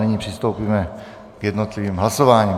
Nyní přistoupíme k jednotlivým hlasováním.